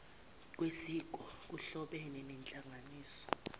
kwesiko kuhlobene nenhlanganisela